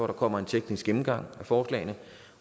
der kommer en teknisk gennemgang af forslagene